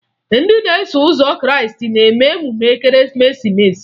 Ndị na-eso ụzọ Krịịstị na-eme emume Ekeresimeesi